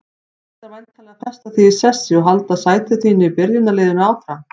Þú ætlar væntanlega að festa þig í sessi og halda sæti þínu í byrjunarliðinu áfram?